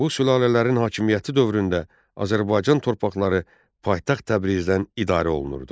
Bu sülalələrin hakimiyyəti dövründə Azərbaycan torpaqları paytaxt Təbrizdən idarə olunurdu.